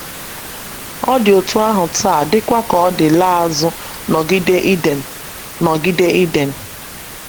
Ọ dị otú ahụ taa dịkwa ka ọ dị laa azụ n’ogige Iden. n’ogige Iden.